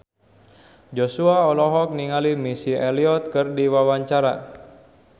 Joshua olohok ningali Missy Elliott keur diwawancara